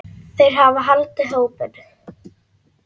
Þeir hafa haldið hópinn.